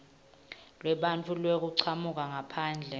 lwebantfu bekuchamuka ngaphandle